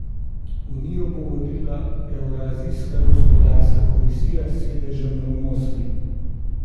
Unijo bo vodila Evrazijska gospodarska komisija s sedežem v Moskvi.